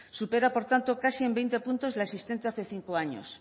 supera por tanto casi en veinte puntos la existente hace cinco años